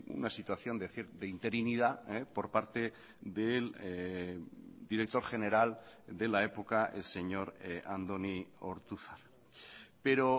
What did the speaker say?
una situación de interinidad por parte del director general de la época el señor andoni ortuzar pero